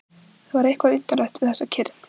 Það var eitthvað undarlegt við þessa kyrrð.